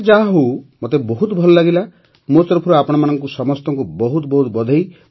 ସେ ଯାହାହେଉ ମୋତେ ବହୁତ ଭଲ ଲାଗିଲା ମୋ ତରଫରୁ ଆପଣ ସମସ୍ତଙ୍କୁ ବହୁତ ବହୁତ ବଧେଇ